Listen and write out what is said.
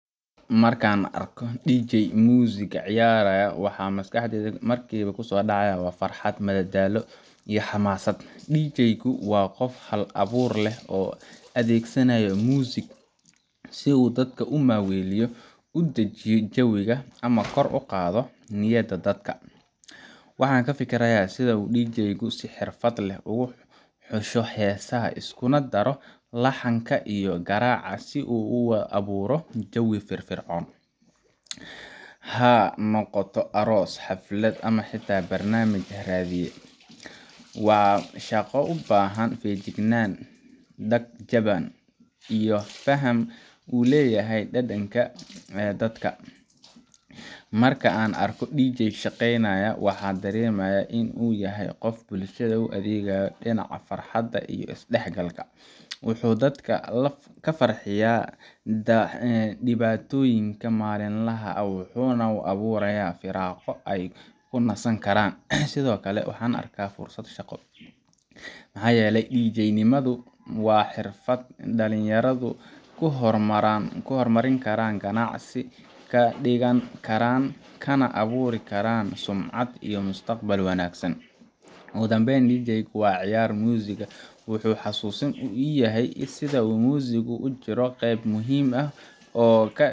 Marka aan arko DJ ciyaaraya muusig, waxa maskaxdayda markiiba ku soo dhacaya farxad, madadaalo, iyo xamaasad. DJ-gu waa qof hal-abuur leh oo adeegsanaya muusik si uu dadka u maaweeliyo, u dejiyo jawiga, ama kor ugu qaado niyadda dadka. Waxaan ka fikirayaa sida uu DJ-gu si xirfad leh ugu xusho heesaha, iskuna daro laxanka iyo garaaca si uu u abuuro jawi firfircoon – ha noqoto aroos, xaflad, ama xitaa barnaamij raadiye. Waa shaqo u baahan feejignaan, dhag jaban, iyo faham uu u leeyahay dhadhanka dadka. Marka aan arko DJ shaqeynaya, waxaan dareemaa in uu yahay qof bulshada u adeegaya dhinaca farxadda iyo isdhexgalka. Wuxuu dadka ka farxinayaa dhibaatooyinka maalinlaha ah, wuxuuna u abuurayaa firaaqo ay ku nasan karaan. Sidoo kale waxaan arkaa fursad shaqo maxaa yeelay DJ-nimadu waa xirfad dhalinyaradu ku horumari karaan, ganacsi ka dhigan karaan, kana abuuri karaan sumcad iyo mustaqbal wanaagsan. Ugu dambayn, DJ-ga ciyaaraya muusig wuxuu xasuusin ii yahay sida muusiggu ugu jiro qaybta muhiimka ah